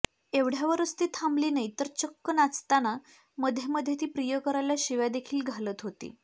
एवढ्यावरच ती थांबली नाही तर चक्क नाचताना मध्येमध्ये ती प्रियकराला शिव्या देखील घालत होती